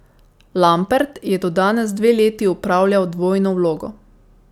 Lampert je do danes dve leti opravljal dvojno vlogo.